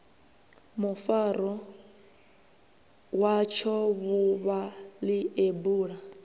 mufaro watsho vhuvha ḽeibu ḽu